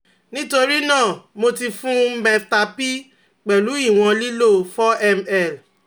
Nitorinaa, mo ti fun meftal p pẹlu iwọn lilo four ml